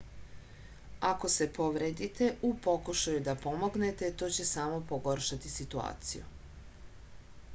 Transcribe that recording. ako se povredite u pokušaju da pomognete to će samo pogoršati situaciju